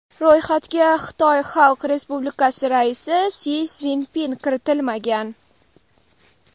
Ro‘yxatga Xitoy Xalq Respublikasi raisi Si Szinpin kiritilmagan.